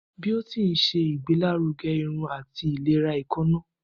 Biotin ṣe igbelaruge irun ati ilera eekanna.